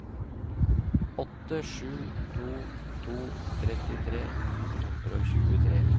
åtte sju to to trettitre ni hundre og tjuetre